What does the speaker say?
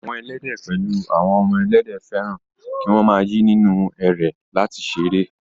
Àwọn Ẹlẹ́dẹ̀ pẹ̀lú àwọn ọmọ Ẹlẹ́dẹ̀, fẹ́ràn kí wọ́n máa yí nínú ẹrẹ̀ láti ṣeré